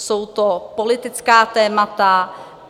Jsou to politická témata.